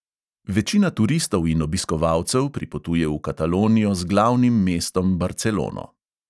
Večina turistov in obiskovalcev pripotuje v katalonijo z glavnim mestom barcelono.